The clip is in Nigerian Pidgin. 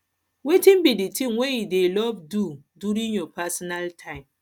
wetin be di thing wey you dey love do during your personal time